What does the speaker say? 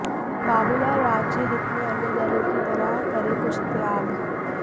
बाबूलाल राज्य हित में अन्य दलों की तरह करें कुछ त्याग